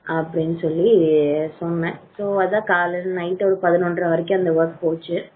அப்படின்னு சொல்லி சொன்னேன் so night பதினொன்ற வரைக்கும் அந்த work போச்சு.